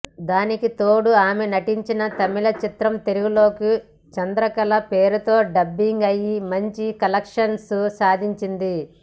దానికి తోడు ఆమె నటించిన తమిళ చిత్రం తెలుగులోకి చంద్రకళ పేరుతో డబ్బింగ్ అయ్యి మంచి కలెక్షన్స్ సాధించింది